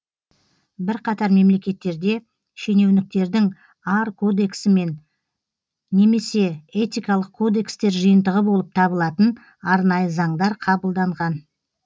бірқатар мемлекеттерде шенеуніктердің ар кодексі немесе этикалық кодекстер жиынтығы болып табылатын арнайы заңдар қабылданған